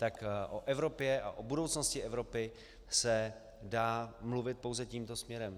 Tak o Evropě a o budoucnosti Evropy se dá mluvit pouze tímto směrem.